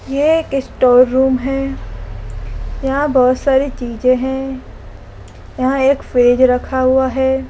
यह store room है यहां बहोत सारी चीजे हैं यहां एक फ्रिज रखा हुआ है।